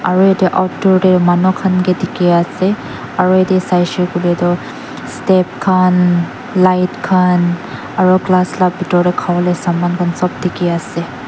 aro ede outdoor de manu khan ke dikhi ase aro ede saishe koile toh step khan light khan aro glass la bitor de khabo le saman khan sob dikhi ase.